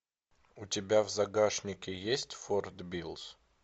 у тебя в загашнике есть форт биллс